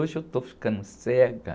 Hoje eu estou ficando cega.